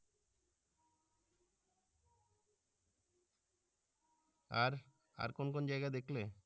আর আর কোন কোন জায়াগা দেখলে?